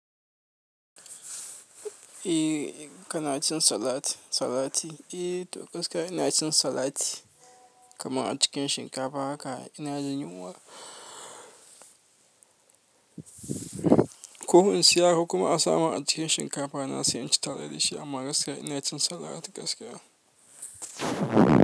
Eh, kana cin salat, salati? Eh, to gaskiya ina cin salati kamar a cikin shinkafa haka ina jin yunwa. Ko in siya ko kuma a samun cikin shinkafa na sai in ci tare da shi amma gaskiya ina cin salat gaskiya.